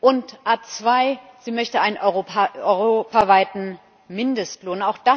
Und ad 2 Sie möchte einen europaweiten Mindestlohn.